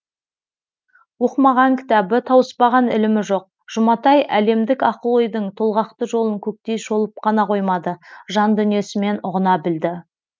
оқымаған кітабы тауыспаған ілімі жоқ жұматай әлемдік ақыл ойдың толғақты жолын көктей шолып қана қоймады жан дүниесімен ұғына білді